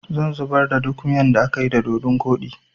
zan zubar da duk miyan da akayi da dodun koɗi